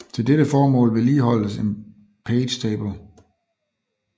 Til dette formål vedligeholdes en page table